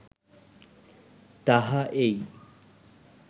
তাহা এই